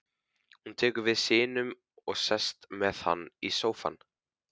Hún tekur við syninum og sest með hann í sófann.